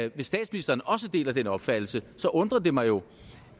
eu hvis statsministeren også deler den opfattelse undrer det mig jo